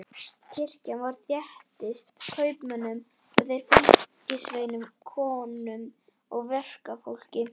Kirkjan var þéttsetin kaupmönnum og þeirra fylgisveinum, konum og verkafólki.